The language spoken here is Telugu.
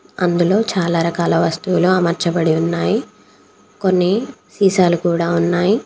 అందులో చాలా రకాల వస్తువులు అమర్చబడి ఉన్నాయి. కొన్ని సీసాలు కూడా ఉన్నాయి.